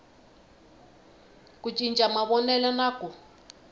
ku cinca mavonelo na ku